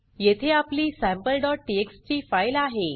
येथे आपली sampleटीएक्सटी फाइल आहे